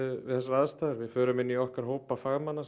við þessar aðstæður við förum inn í okkar hópa fagmanna